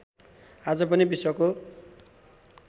आज पनि विश्वको